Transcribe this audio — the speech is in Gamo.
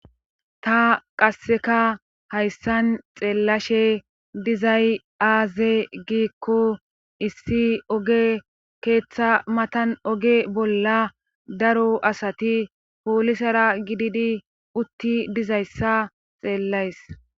ta qasseka hayssan xeellashe dizay aaze giikko issi oge keeththa matan oge bolla daro asati poolisara gididi utti dizayssa xeellays